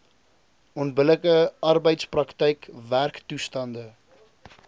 onbillike arbeidsprakryk werktoestande